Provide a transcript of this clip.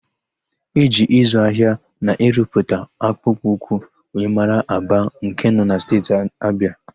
E ji ịzụ ahịa na ịrụpụta akpụkpọ ụkwụ wee mara Aba nke nọ na Steeti Abịa.